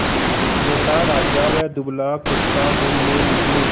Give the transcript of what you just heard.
मोटा राजा व दुबला कुत्ता घूमने निकले